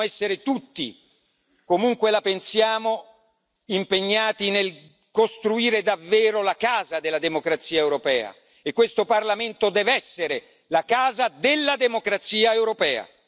Dobbiamo essere tutti, comunque la pensiamo, impegnati nel costruire davvero la casa della democrazia europea e questo Parlamento deve essere la casa della democrazia europea.